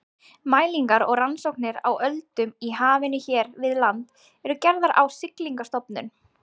Mælingar og rannsóknir á öldum í hafinu hér við land eru gerðar á Siglingastofnun.